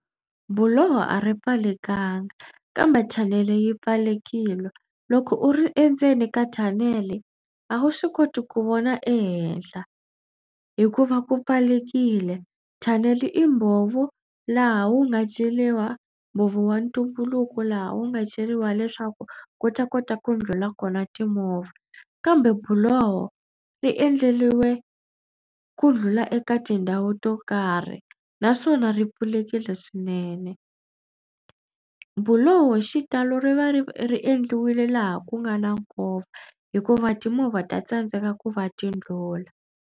Buloho a ri pfalekangi kambe thanele yi pfalelekile. Loko u ri endzeni ka thanele a wu swi koti ku vona ehehla hikuva ku pfalelekile. Thanele i mbhovo laha wu nga ceriwa mbhovo wa ntumbuluko laha wu nga ceriwa leswaku ku ta kota ku ndlhula kona timovha kambe buloho ri endleriwe ku ndlhula eka tindhawu to karhi naswona ri pfulekile swinene. Buloho hi xitalo ri va ri ri endliwile laha ku nga na nkova hikuva timovha ta tsandzeka ku va ti ndlhula.